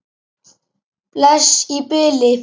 Bless í bili!